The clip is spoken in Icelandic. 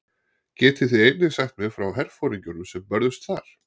Getið þið einnig sagt mér frá herforingjunum sem börðust þar?